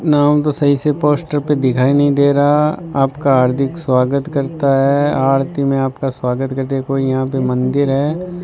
नाम तो सही से पोस्टर पे दिखाई नहीं दे रहा आपका हार्दिक स्वागत करता है आरती में आपका स्वागत के देखो यहां पे मंदिर है।